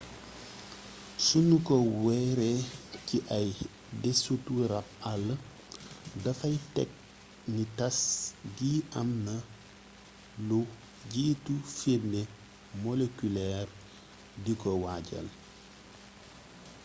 sunu ko wéeree ci ay desitu rabb àll dafay tekk ni tass gi am naa lu jiitu firnde molekuleer di ko waajal